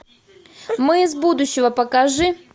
мы из будущего покажи